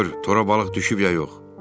Get bax gör tora balıq düşüb ya yox.